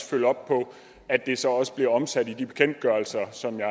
følge op på at det så også bliver omsat i de bekendtgørelser som jeg